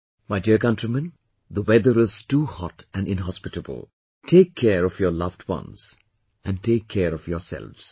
My dear countrymen, the weather is too hot and inhospitable , take care of your loved ones and take care of yourselves